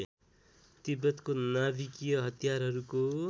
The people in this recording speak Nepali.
तिब्बतको नाभिकीय हतियारहरूको